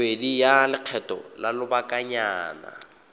bobedi ya lekgetho la lobakanyana